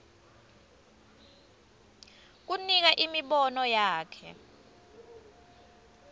kunika imibono yakhe